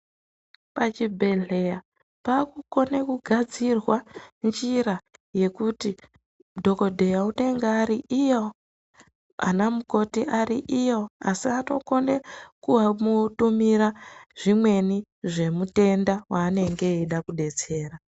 Pachibhedhlera paakukone kugadzirwa njira yekuti madhokodheya anenge ari iyo, anamukoti ari iyo asi anotokone kumutumira zvimweni zvemutenda waanenge veide kudetsera.